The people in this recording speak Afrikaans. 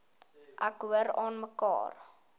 ek hoor aanmekaar